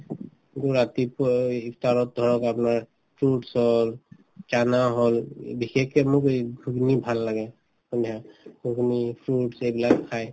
কিন্তু ৰাতিপুৱাই ইফতাৰত ধৰক আপোনাৰ fruits হল চানা হল উম বিশেষকে মোক এই ঘুগনি ভাল লাগে fruits এইবিলাক খাই